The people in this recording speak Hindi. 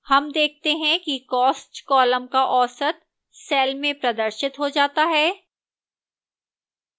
हम देखते हैं कि cost column का औसत cell में प्रदर्शित हो जाता है